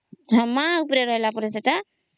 ହଁ ମା ଉପରେ ରହିଲା ପରେ ସେଇଟା